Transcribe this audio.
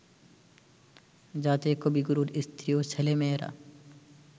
যাতে কবিগুরুর স্ত্রী ও ছেলেমেয়েরা